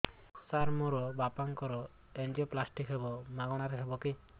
ସାର ମୋର ବାପାଙ୍କର ଏନଜିଓପ୍ଳାସଟି ହେବ ମାଗଣା ରେ ହେବ କି